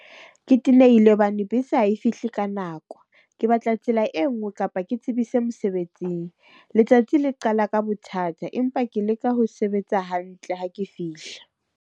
Ke tenehile hobane bese ha e fihle ka nako. Ke batla tsela e nngwe kapa ke tsebise mosebetsing. Letsatsi le qala ka bothata, empa ke leka ho sebetsa hantle ha ke fihla.